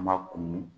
An ma kunun